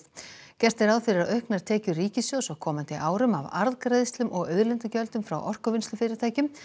gert er ráð fyrir að auknar tekjur ríkissjóðs á komandi árum af arðgreiðslum og auðlindagjöldum frá orkuvinnslufyrirtækjum